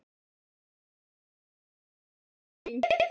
Jóhannes: Og hvernig hefur gengið?